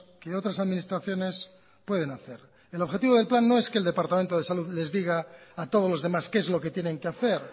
que otras administraciones pueden hacer el objetivo del plan no es que el departamento de salud les diga a todos los demás qué es lo que tienen que hacer